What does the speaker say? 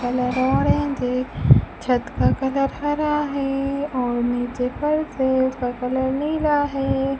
Colour orange है छत का कलर हरा है और नीचे फर्श है उसका कलर नीला है।